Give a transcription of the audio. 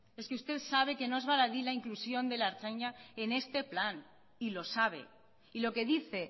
es que usted sabe que no es baladí la inclusión de la ertzaintza en este plan y lo sabe y lo que dice